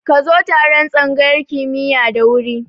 Ka zo taron tsangayar kimiya da wuri